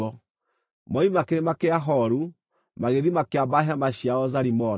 Moima Kĩrĩma kĩa Horu, magĩthiĩ makĩamba hema ciao Zalimona.